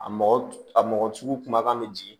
A mɔgɔ a mɔgɔ sugu kumakan bɛ jigin